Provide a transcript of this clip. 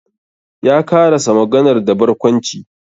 Ya karasa maganar da barkwanci